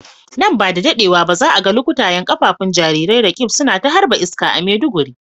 Nan ba da dadewa ba za a ga lukutayen kafafun jarirai Roqeeb suna ta harba iska a Maiduguri.